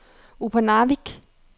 Upernavik